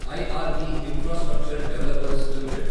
IRB infrastructure developers limited